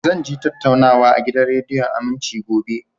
Zan je tattaunawa a gidan rediyon Aminci, gobe